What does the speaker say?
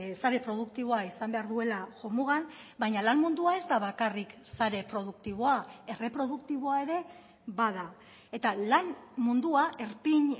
sare produktiboa izan behar duela jomugan baina lan mundua ez da bakarrik sare produktiboa erreproduktiboa ere bada eta lan mundua erpin